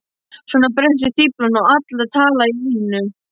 Svo brestur stíflan og allar tala í einu.